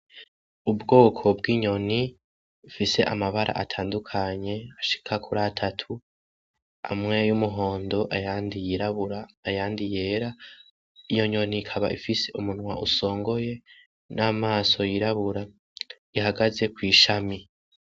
Ubwoko bw'inyoni bufise amabara atandukanye ashika kur'atatu, amwe y'umuhondo; ayandi yirabura; ayandi yera. Iyo nyoni ikaba ifise umunwa usongoye n'amaso yirabura, ihagaze kw'ishami.